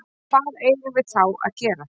Hvað eigum við þá að gera?